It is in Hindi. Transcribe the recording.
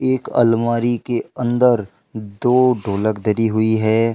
एक अलमारी के अंदर दो ढोलक धरी हुई है।